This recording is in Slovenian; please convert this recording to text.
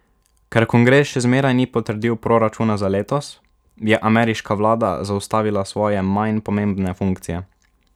Ker kongres še zmeraj ni potrdil proračuna za letos, je ameriška vlada zaustavila svoje manj pomembne funkcije.